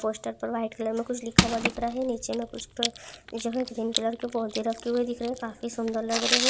poster में white colour में लिखा हुआ दिख रहा है नीचे में कुछ तो जो है ग्रीन कलर के पौधे रखे हुए दिख रहे है काफी सुन्दर लग रहे--